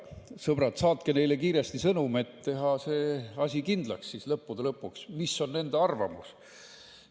Sõbrad, saatke neile kiiresti sõnum, et teha lõppude lõpuks kindlaks, mis on nende arvamus.